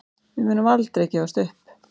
Við munum aldrei gefast upp